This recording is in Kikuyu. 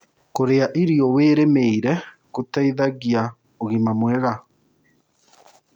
Kũrĩa ĩro wĩthĩmĩĩre gũteĩthagĩa ũgima mwega